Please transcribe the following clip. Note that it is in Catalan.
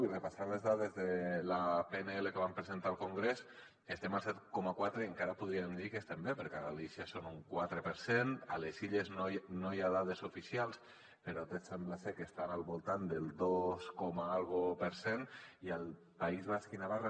i repassant les dades de la pnl que vam presentar al congrés estem al set coma quatre i encara podríem dir que estem bé perquè a galícia són un quatre per cent a les illes no hi ha dades oficials però sembla ser que estan al voltant del dos i escaig per cent i al país basc i navarra